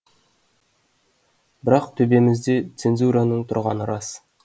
бірақ төбемізде цензураның тұрғаны рас